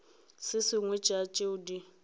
se sengwe sa tšeo di